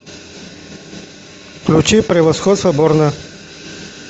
включи превосходство борна